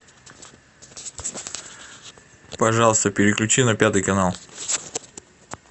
пожалуйста переключи на пятый канал